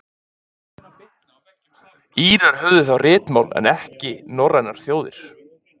Írar höfðu þá ritmál en ekki norrænar þjóðir.